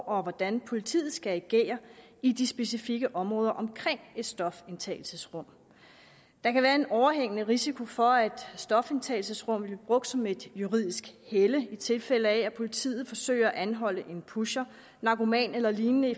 og hvordan politiet skal agere i de specifikke områder omkring et stofindtagelsesrum der kan være en overhængende risiko for at et stofindtagelsesrum vil blive brugt som et juridisk helle i tilfælde af at politiet forsøger at anholde en pusher narkoman eller lignende